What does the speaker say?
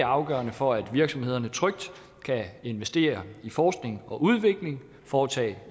afgørende for at virksomhederne trygt kan investere i forskning og udvikling og foretage